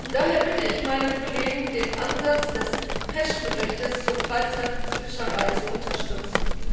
Daher bitte ich meine Kollegen, den Ansatz des PECH Berichts zur Freizeitfischerei zu unterstützen.